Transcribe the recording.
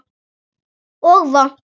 Og vont.